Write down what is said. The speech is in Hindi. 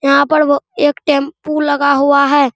यहां पर वो एक टेंपू लगा हुआ है।